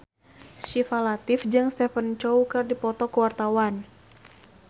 Syifa Latief jeung Stephen Chow keur dipoto ku wartawan